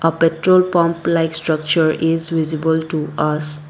a petrol pump like structure is visible to us.